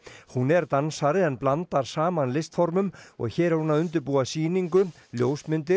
hún er dansari en blandar saman og hér er hún að undirbúa sýningu ljósmyndir